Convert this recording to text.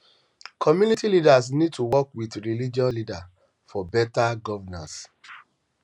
community leaders need to work with religious leaders for beta governance